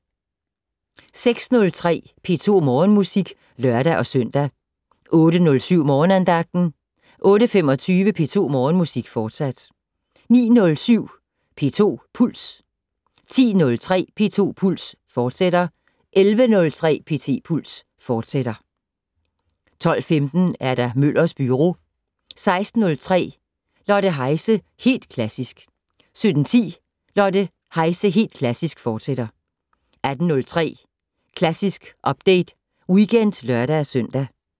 06:03: P2 Morgenmusik (lør-søn) 08:07: Morgenandagten 08:25: P2 Morgenmusik, fortsat 09:07: P2 Puls 10:03: P2 Puls, fortsat 11:03: P2 Puls, fortsat 12:15: Møllers Byro 16:03: Lotte Heise - Helt Klassisk 17:10: Lotte Heise - Helt Klassisk, fortsat 18:03: Klassisk Update Weekend (lør-søn)